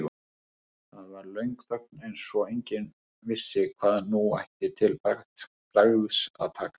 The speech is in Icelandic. Það var löng þögn eins og enginn vissi hvað nú ætti til bragðs að taka.